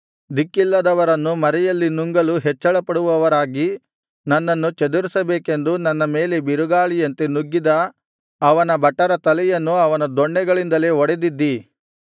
ದಿಕ್ಕಿಲ್ಲದವರನ್ನು ಮರೆಯಲ್ಲಿ ನುಂಗಲು ಹೆಚ್ಚಳಪಡುವವರಾಗಿ ನನ್ನನ್ನು ಚದುರಿಸಬೇಕೆಂದು ನನ್ನ ಮೇಲೆ ಬಿರುಗಾಳಿಯಂತೆ ನುಗ್ಗಿದ ಅವನ ಭಟರ ತಲೆಯನ್ನು ಅವನ ದೊಣ್ಣೆಗಳಿಂದಲೇ ಒಡೆದಿದ್ದೀ